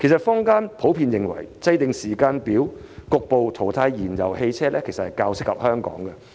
坊間普遍認為制訂時間表局部淘汰燃油汽車，較為切合香港的情況。